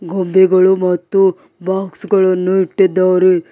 ಗೊಂಬೆಗಳು ಮತ್ತು ಬಾಕ್ಸ್ ಗಳನ್ನು ಇಟ್ಟಿದ್ದಾರೆ.